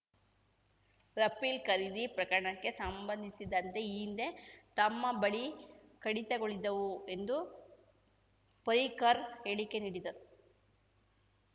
Rafale ಖರೀದಿ ಪ್ರಕರಣಕ್ಕೆ ಸಂಬಂಧಿಸಿದಂತೆ ಈ ಹಿಂದೆ ತಮ್ಮ ಬಳಿ ಕಡಿತಗಳಿದ್ದವು ಎಂದು ಪರಿಕ್ಕರ್ ಹೇಳಿಕೆ ನೀಡಿದ್ದರು